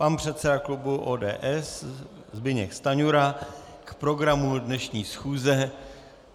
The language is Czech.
Pan předseda klubu ODS Zbyněk Stanjura k programu dnešní schůze.